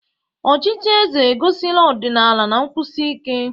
Ọchịchị eze egosila ọdịnala na nkwụsi ike.